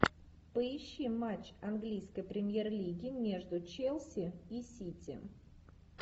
поищи матч английской премьер лиги между челси и сити